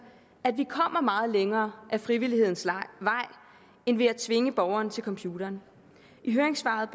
at vi kommer meget længere ad frivillighedens vej end ved at tvinge borgerne til computeren i høringssvaret